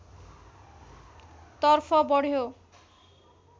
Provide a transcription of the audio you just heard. तर्फ बढ्यो